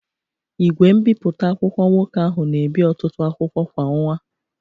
Igwe mbipụta akwụkwọ nwoke ahụ na ebi ọtụtụ akwụkwọ kwa ọnwa.